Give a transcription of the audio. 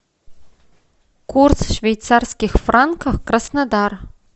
курс швейцарских франков краснодар